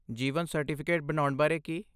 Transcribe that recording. ਜੀਵਨ certificate ਬਣਾਉਣ ਬਾਰੇ ਕੀ?